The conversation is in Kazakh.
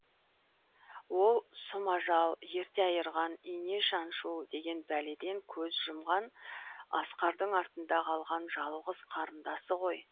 ол сұм ажал ерте айырған ине шаншу деген бәледен көз жұмған асқардың артында қалған жалғыз қарындасы ғой